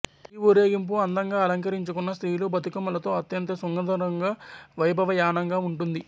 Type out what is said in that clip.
ఈ ఊరేగింపు అందంగా అలంకిరించుకున్న స్త్రీలు బతుకమ్మలతో అత్యంత సుందరంగా వైభావయానంగా ఉంటుంది